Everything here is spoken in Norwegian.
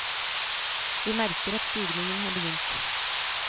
Vi merker at stigningen har begynt.